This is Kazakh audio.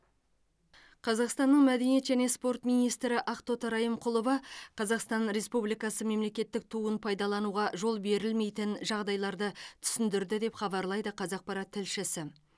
қазақстанның мәдениет және спорт министрі ақтоты райымқұлова қазақстан республикасы мемлекеттік туын пайдалануға жол берілмейтін жағдайларды түсіндірді деп хабарлайды қазақпарат тілшісі